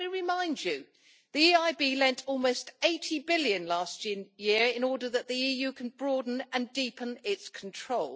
And let me remind you that the EIB lent almost EUR 80 billion last year in order that the EU can broaden and deepen its control.